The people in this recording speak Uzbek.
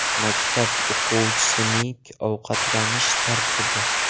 Maktab o‘quvchisining ovqatlanish tartibi.